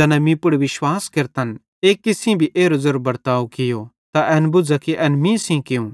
ज़ैना मीं पुड़ विश्वास केरतन एक्की सेइं भी एरो ज़ेरो बर्ताव कियो त एन बुझ़ा कि एन मीएं सेइं कियूं